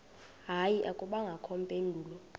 hayi akubangakho mpendulo